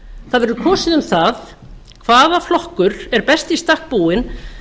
það verður kosið um það hvaða flokkur er best í stakk búinn